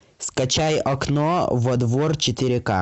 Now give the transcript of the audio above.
скачай окно во двор четыре ка